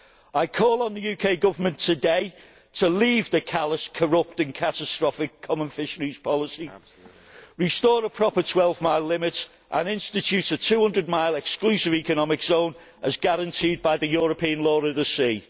I call on the UK Government today to leave the callous, corrupting, catastrophic common fisheries policy, restore a proper 12 mile limit and institute a 200 mile exclusive economic zone, as guaranteed by the European Law of the Sea.